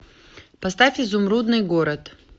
поставь изумрудный город